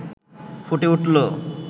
ফুটে উঠল